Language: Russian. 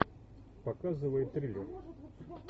показывай триллер